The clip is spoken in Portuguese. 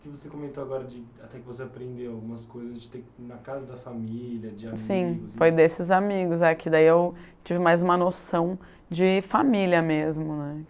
Que você comentou agora, de até que você aprendeu algumas coisas de ter que ir na casa da família, de amigos... Sim, foi desses amigos, que daí eu tive mais uma noção de família mesmo, né?